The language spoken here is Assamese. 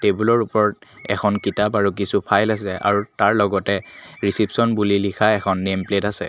টেবুলৰ ওপৰত এখন কিতাপ আৰু কিছু ফাইল আছে আৰু তাৰ লগতে ৰিছে'পশ্বন বুলি লিখা এখন নেম প্লেট আছে।